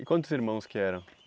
E quantos irmãos que eram?